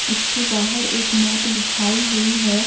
इसके बाहर एक मैट बिछाई हुई हैं।